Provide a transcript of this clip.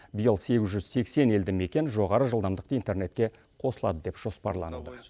биыл сегіз жүз сексен елді мекен жоғары жылдамдықты интернетке қосылады деп жоспарлануда